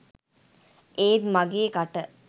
ඒත් මගෙ කට